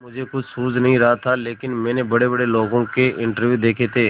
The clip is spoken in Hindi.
मुझे कुछ सूझ नहीं रहा था लेकिन मैंने बड़ेबड़े लोगों के इंटरव्यू देखे थे